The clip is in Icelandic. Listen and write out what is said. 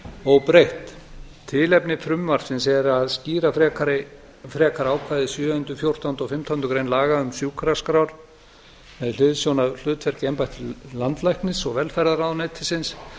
óbreytt tilefni frumvarpsins er að skýra frekar ákvæði sjöundu fjórtándu og fimmtándu greinar laga um sjúkraskrár með hliðsjón af hlutverki embættis landlæknis og velferðarráðuneytisins